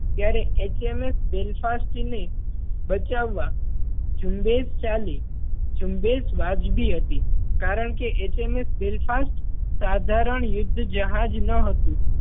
ત્યારે HMS Belfast ને બચાવવા ઝુંબેશ ચાલી ઝુંબેશ વ્યાજબી હતી કારણ કે HMS Belfast સાધારણ યુદ્ધ જહાજ ન હતું.